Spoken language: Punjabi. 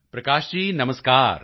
ਪ੍ਰਕਾਸ਼ ਜੀ ਨਮਸਕਾਰ